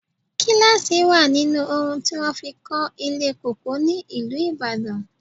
Gíláàsì wà nínú oun ti wọn fi kó ilé Cocoa ní ìlú Ìbàdàn.